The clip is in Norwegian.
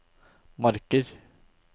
Marker